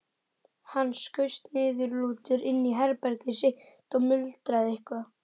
Hann skaust niðurlútur inn í herbergið sitt og muldraði eitthvað.